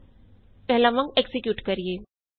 ਆਉ ਪਹਿਲਾਂ ਵਾਂਗ ਐਕਜ਼ੀਕਿਯੂਟ ਕਰੀਏ